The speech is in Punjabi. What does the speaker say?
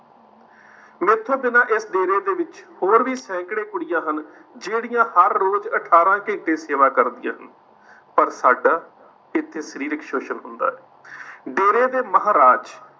ਮੈਥੋਂ ਬਿਨਾਂ ਇਸ ਡੇਰੇ ਦੇ ਵਿੱਚ ਹੋਰ ਵੀ ਸੈਂਕੜੇ ਕੁੜੀਆਂ ਹਨ ਜਿਹੜੀਆਂ ਹਰ ਰੋਜ਼ ਅਠਾਰ੍ਹਾਂ ਘੰਟੇ ਸੇਵਾ ਕਰਦੀਆਂ ਹਨ। ਪਰ ਸਾਡਾ ਇੱਥੇ ਸ਼ਰੀਰਕ ਸੋਸ਼ਣ ਹੁੰਦਾ ਹੈ। ਡੇਰੇ ਦੇ ਮਹਾਰਾਜ